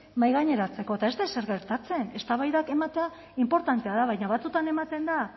mahaigaineratzeko eta ez da ezer gertatzen eztabaidak ematea inportantea da baina batzuetan ematen da